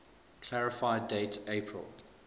clarify date april